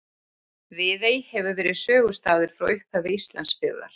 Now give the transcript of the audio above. Viðey hefur verið sögustaður frá upphafi Íslandsbyggðar.